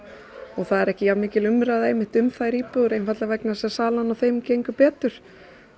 og það er ekki jafnmikil umræða einmitt um þær íbúðir einfaldlega vegna þess að salan á þeim gengur betur